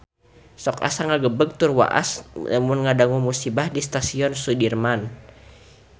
Sok asa ngagebeg tur waas lamun ngadangu musibah di Stasiun Sudirman